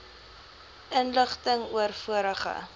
inligting oor vorige